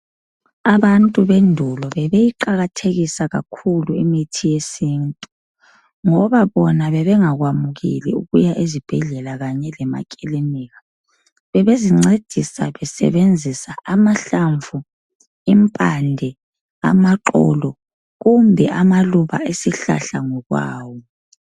Abantu bendulo bebeyiqakathekisa kakhulu imithi yesintu, ngoba bona bebengakwamukeli ukuya ezibhedlela kanye lemakilinika. Bebezincedisa besebenzisa amahlamvu, impande, amaxolo, kumbe amaluba esihlahla ngokwawo.